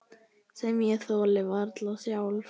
Sem ég þoli varla sjálf.